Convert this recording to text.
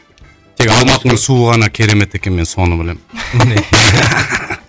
тек алматының суы ғана керемет екен мен соны білемін